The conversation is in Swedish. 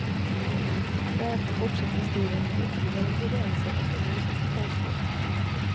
Därefter fortsätter historien med ytterligare ingredienser och en ny situationsbild.